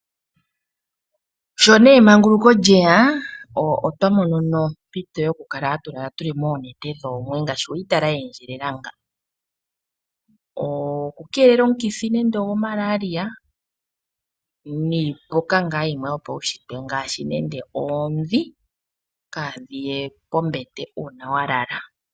Sho nee emanguluko lyeya otwa mono nee ompito yoku kala tatu lala moonete dhoomwe ngaashi weyi tala ye endjelela nga. Oku keelela omukithi nande ogo Malaria, niipuka ngaa yimwe yopaunshitwe ngaashi nande oodhi, kaa dhiye kombete uuna wa lala.